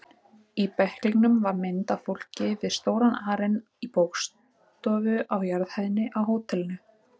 Í bæklingnum var mynd af fólki við stóran arin í bókastofu á jarðhæðinni á hótelinu.